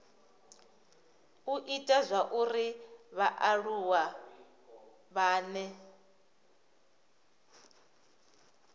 u ita zwauri vhaaluwa vhane